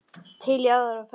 Til í aðra ferð.